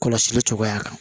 Kɔlɔsili cogoya kan